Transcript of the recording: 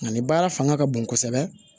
Nka nin baara fanga ka bon kosɛbɛ